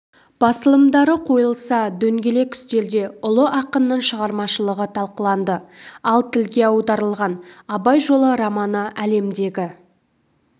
басылымдары қойылса дөңгелек үстелде ұлы ақынның шығармашылығы талқыланды ал тілге аударылған абай жолы романы әлемдегі